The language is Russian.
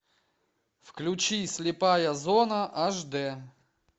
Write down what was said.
включи слепая зона аш д